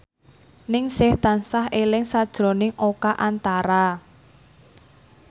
Ningsih tansah eling sakjroning Oka Antara